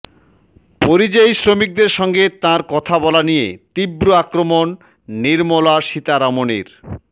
পরিযায়ী শ্রমিকদের সঙ্গে তাঁর কথা বলা নিয়ে তীব্র আক্রমণ নির্মলা সীতারামনের